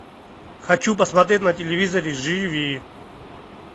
хочу посмотреть на телевизоре живи